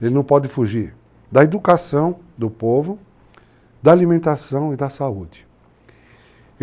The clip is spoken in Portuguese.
Ele não pode fugir da educação do povo, da alimentação e da saúde.